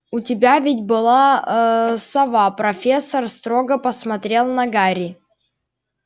у тебя ведь была ээ сова профессор строго посмотрела на гарри